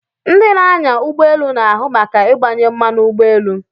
Ndị na-anya ụgbọ elu na-ahụ maka ịgbanye mmanụ ụgbọ elu.